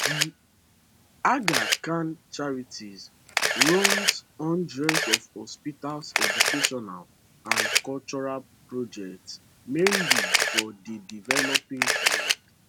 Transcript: the aga khan charities run hundreds of hospitals educational and cultural projects mainly for di developing world